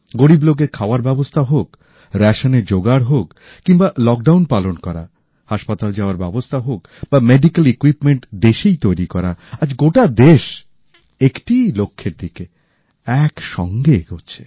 গরীব লোকের খাওয়ার ব্যাবস্থা হোক রেশনের জোগাড় হোক কিম্বা লকডাউন পালন করা হাসপাতাল যাওয়ার ব্যাবস্থা হোক বা চিকিৎসা সরঞ্জাম দেশেই তৈরি করা আজ গোটা দেশ একটিই লক্ষ্যের দিকে একসাথে এগোচ্ছে